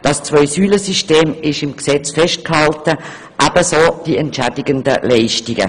Das Zwei-Säulen System wird im Gesetz festgehalten, ebenso wie die zu entschädigenden Leistungen.